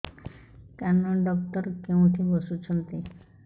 କାନ ଡକ୍ଟର କୋଉଠି ବସୁଛନ୍ତି